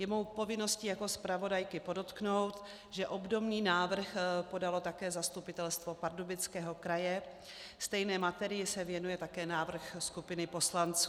Je mou povinností jako zpravodajky podotknout, že obdobný návrh podalo také Zastupitelstvo Pardubického kraje, stejné materii se věnuje také návrh skupiny poslanců.